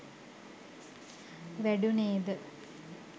වැඩුණේ ද